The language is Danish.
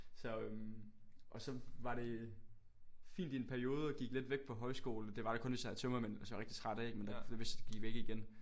Så øh og så var det fint i en periode og gik lidt væk på højskole det var der kun hvis jeg havde tømmermænd hvis jeg var rigtig træt ikke men det gik væk igen